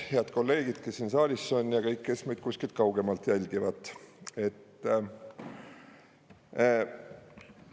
Head kolleegid, kes siin saalis on, ja kõik, kes meid kuskilt kaugemalt jälgivad!